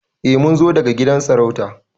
Eh Mun zo daga gidan sarauta.